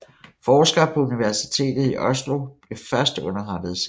Forskere på Universitetet i Oslo blev først underettet senere